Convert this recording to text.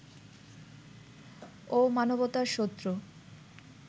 ও মানবতার শত্রু